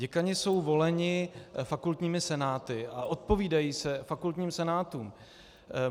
Děkani jsou voleni fakultními senáty a odpovídají se fakultním senátům.